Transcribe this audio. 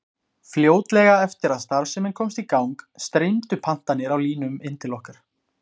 Fljótlega eftir að starfsemin komst í gang streymdu pantanir á línum inn til okkar.